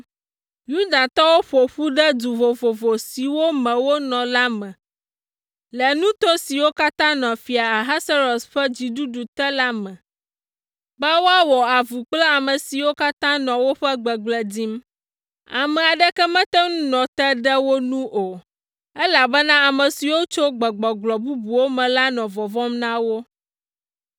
Yudatɔwo ƒo ƒu ɖe du vovovo siwo me wonɔ la me le nuto siwo katã nɔ Fia Ahasuerus ƒe dziɖuɖu te la me be woawɔ avu kple ame siwo katã nɔ woƒe gbegblẽ dim. Ame aɖeke mete ŋu nɔ te ɖe wo nu o, elabena ame siwo tso gbegbɔgblɔ bubuwo me la nɔ vɔvɔ̃m na wo.